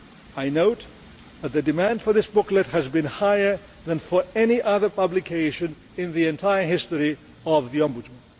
I note that the demand for this booklet has been higher than for any other publication in the entire history of the Ombudsman.